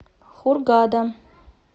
хургада